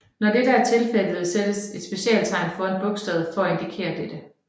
Når dette er tilfældet sættes et specialtegn foran bogstavet for at indikere dette